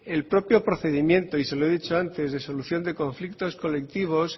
el propio procedimiento y se lo he dicho antes de resolución de conflictos colectivos